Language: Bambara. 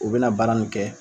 U bina baara min kɛ